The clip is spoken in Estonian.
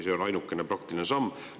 See on ainuke praktiline samm.